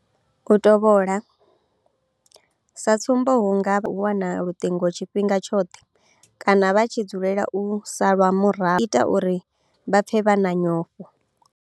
U tovhola, sa tsumbo hu nga vha nga nḓila ya u wana luṱingo tshifhinga tshoṱhe kana vha tshi dzulela u salwa murahu izwi zwa ita uri vha pfe vha na nyofho.